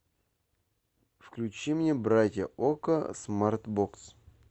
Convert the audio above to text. включи мне братья окко смарт бокс